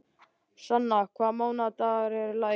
Sanna, hvaða mánaðardagur er í dag?